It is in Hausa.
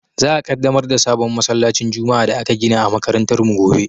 Za a Ƙaddamar da sabon masallacin juma'a da aka gina a makarantar mu gobe.